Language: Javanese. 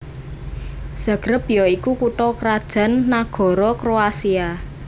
Zagreb ya iku kutha krajan nagara Kroasia